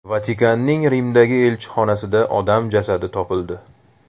Vatikanning Rimdagi elchixonasida odam jasadi topildi.